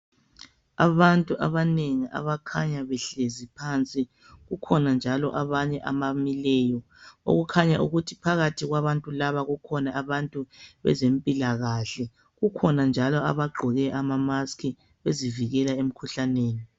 Abantu abanengi abakhanya behlezi phansi kukhona njalo abanye abamileyo okukhanya ukuthi phakathi kwabantu laba kukhona abantu bezempilakahle kukhona njalo abagqoke amamask bezivikela emkhuhlaneni.